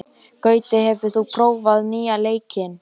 Gutti, hefur þú prófað nýja leikinn?